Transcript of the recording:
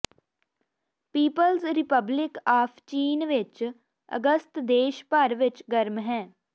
people's republic of ਚੀਨ ਵਿਚ ਅਗਸਤ ਦੇਸ਼ ਭਰ ਵਿਚ ਗਰਮ ਹੈ